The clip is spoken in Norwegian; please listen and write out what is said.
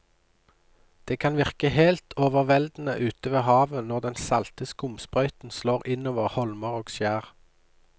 Det kan virke helt overveldende ute ved havet når den salte skumsprøyten slår innover holmer og skjær.